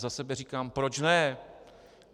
Za sebe říkám proč ne.